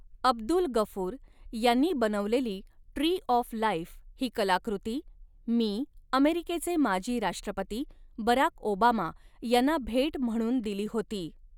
अब्दुल गफूर यांनी बनवलेली tree of life ही कलाकृती मी अमेरिकेचे माजी राष्ट्रपती बराक ओबामा यांना भेट म्हणून दिली होती.